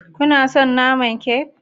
Kana son naman kek?